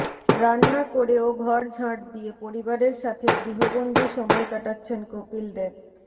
রান্না করে ও ঘর ঝাঁট দিয়ে পরিবারের সাথে গৃহবন্দী সময় কাটাচ্ছেন কপিল দেব